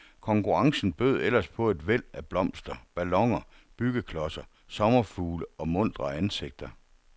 Konkurrencen bød ellers på et væld af blomster, balloner, byggeklodser, sommerfugle og muntre ansigter.